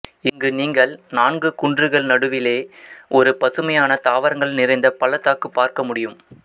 இங்கு நீங்கள் நான்கு குன்றுகள் நடுவிலேயே ஒரு பசுமையான தாவரங்கள் நிறைந்த பள்ளத்தாக்கு பார்க்க முடியும்